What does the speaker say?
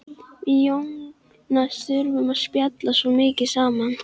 Við Jónas þurftum að spjalla svo mikið saman.